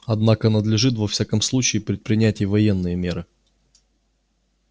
однако надлежит во всяком случае предпринять и военные меры